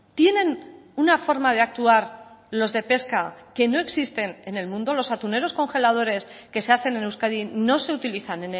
tienen una forma de actuar los de pesca que no existen en el mundo los atuneros congeladores que se hacen en euskadi no se utilizan